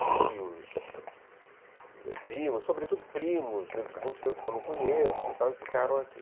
Tios, primos, sobretudo primos, muitos primos que eu não conheço, e ficaram aqui.